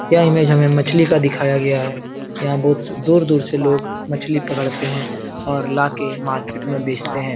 यह इमेज हमें मछली का दिखाया गया है यहां बहुत दूर-दूर से लोग मछली पकड़ते हैं और लाके मार्केट में बेचते हैं।